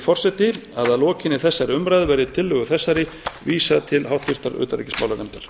forseti að að lokinni þessari umræðu verði tillögu þessari vísað til háttvirtrar utanríkismálanefndar